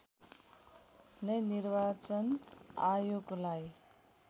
नै निर्वाचन आयोगलाई